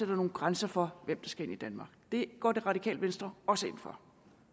nogle grænser for hvem der skal ind i danmark det går det radikale venstre også ind for